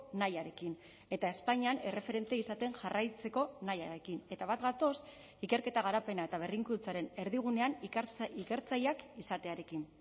nahiarekin eta espainian erreferente izaten jarraitzeko nahiarekin eta bat gatoz ikerketa garapena eta berrikuntzaren erdigunean ikertzaileak izatearekin